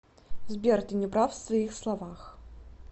сбер ты неправ в своих словах